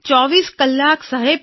૨૪ કલાક સાહેબ